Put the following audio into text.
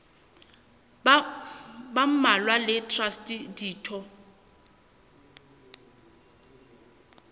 ba mmalwa le traste ditho